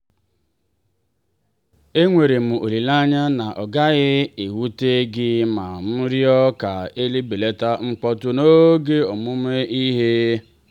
e nwerem olileanya na ọ gaghị ewute gị ma m rịọ ka e belata mkpọtụ n'oge ọmụmụ ihe.